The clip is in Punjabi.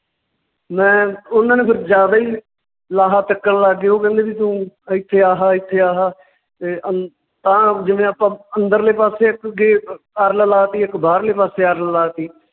ਮੈਂ ਉਨਾਂ ਨੇ ਫਿਰ ਜਿਆਦਾ ਹੀ ਲਾਹਾ ਚੱਕਣ ਲੱਗ ਗਏ ਉਹ ਕਹਿੰਦੇ ਵੀ ਤੂੰ ਇੱਥੇ ਆਹਾ ਇੱਥੇ ਆਹਾ ਤੇ ਅੰ~ ਆਹ ਜਿਵੇਂ ਆਪਾਂ ਅੰਦਰਲੇ ਪਾਸੇ ਇੱਕ ਅਰਲ ਲਾਤੀ ਇੱਕ ਬਾਰਲੇ ਪਾਸੇ ਅਰਲ ਲਾਤੀ